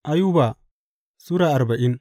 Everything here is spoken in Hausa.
Ayuba Sura arbain